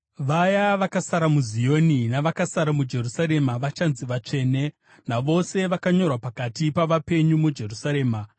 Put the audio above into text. Vaya vakasara muZioni, navakasara muJerusarema, vachanzi vatsvene, navose vakanyorwa pakati pavapenyu muJerusarema.